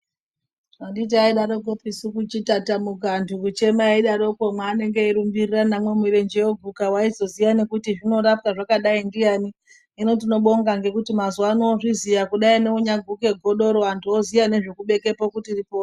Anditi aidaroko kutatamuka achirumba murenje woguka aizoziya kuti zvinorapwa zvakadai ndiani hino tinobonga ngekuti mazuva ano kuti deiungaguka godoro vantu vava kuziya tiripo.